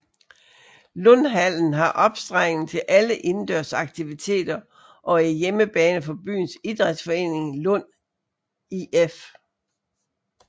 Lundhallen har opstregning til alle indendørs aktiviteter og er hjemmebane for byens idrætsforening Lund IF